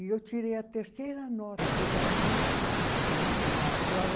E eu tirei a terceira nota, apesar disso, na na prova,